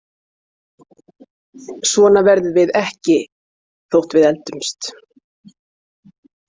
Svona verðum við ekki þótt við eldumst.